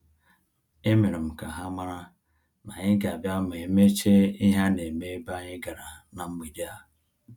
E merem ka ha mara na-anyị ga abia ma emecha ihe a-na eme ebe anyị gara na mgbede a